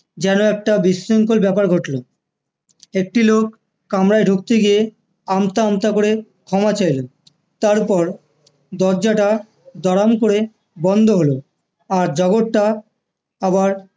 যেন একটা বিশৃঙ্খল ব্যাপার ঘটলো একটি লোক কামরায় ঢুকতে গিয়ে আমতা আমতা করে ক্ষমা চাইলেন তারপর দরজাটা দড়াম করে বন্ধ হলো আর জগৎটা আবার